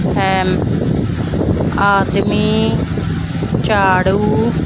hemp ਆਦਮੀ ਝਾੜੂ --